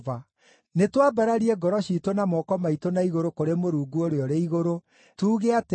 Nĩtwambararie ngoro ciitũ na moko maitũ na igũrũ kũrĩ Mũrungu ũrĩa ũrĩ igũrũ, tuuge atĩrĩ: